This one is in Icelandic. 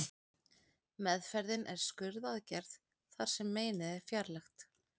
Meðferðin er skurðaðgerð þar sem meinið er fjarlægt.